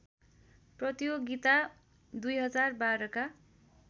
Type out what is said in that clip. प्रतियोगिता २०१२ का